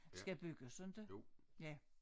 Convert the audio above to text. Skal bygges inte ja